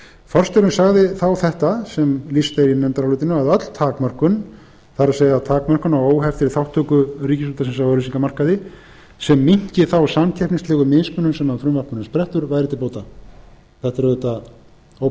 forstjórinn sagði þá þetta sem lýst er í nefndarálitinu að öll takmörkun það er takmörkun á óheftri þátttöku ríkisútvarpsins á auglýsingamarkaði sem minnki þá samkeppnislegu mismunun sem af frumvarpinu sprettur væri til bóta þetta er auðvitað